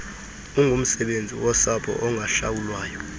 ungumsebenzi wosapho ongahlawulwayo